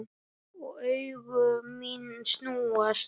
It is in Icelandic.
Og augu mín snúast.